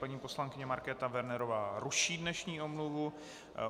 Paní poslankyně Markéta Wernerová ruší dnešní omluvu.